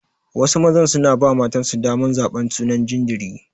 Wasu mazan suna ba matansu daman zaban sunan jinjiri.